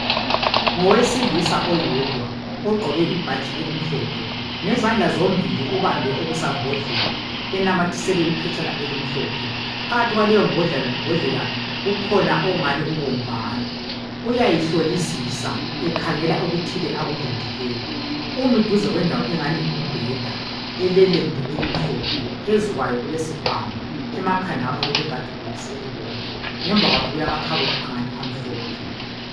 Ngowesilisa oyedwa, ogqoke ibhatshi elimhlophe. Ngezandla zombili ubambe okusambhodlela, enamathiselwe iphetshana elimhlophe. Phakathi kwaleyombhodlela kukhona okungani kubomvana. Uyayihlolisisa, ekhangela okuthile akulindileyo. Umi duze kwendawo engani ngumbheda elelembu elimhlophe . Phezu kwayo kulesikhwama. Emakhanda ngapha kulekhadibhokisi elibomvu. Ngemva kwakhe kulamakhabothi angani amhlophe.